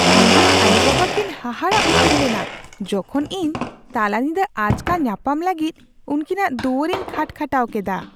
ᱤᱧᱨᱮᱱ ᱟᱭᱳᱼᱵᱟᱵᱟ ᱠᱤᱱ ᱦᱟᱦᱟᱲᱟᱜ ᱩᱛᱟᱹᱨ ᱞᱮᱱᱟ ᱡᱚᱠᱷᱚᱱ ᱤᱧ ᱛᱟᱞᱟᱧᱤᱫᱟᱹ ᱟᱪᱠᱟ ᱧᱟᱯᱟᱢ ᱞᱟᱹᱜᱤᱫ ᱩᱱᱠᱤᱱᱟᱜ ᱫᱩᱣᱟᱹᱨᱤᱧ ᱠᱷᱟᱴᱼᱠᱷᱟᱴᱟᱣ ᱠᱮᱫᱟ ᱾